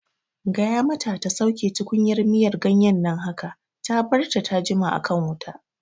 Gaya mata ta ta sauke tukunyar miyan ganyen nan haka! Ta barta ta jima a kan wuta